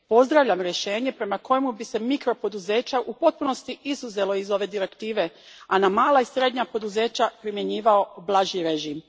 Pozdravljam rješenje prema kojemu bi se mikropoduzeća u potpunosti izuzelo iz ove Direktive, a na mala i srednja poduzeća primjenjivao blaži režim.